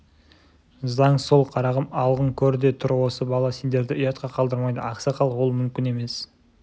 заң сол қарағым алғын көр де тұр осы бала сендерді ұятқа қалдырмайды ақсақал ол мүмкін емес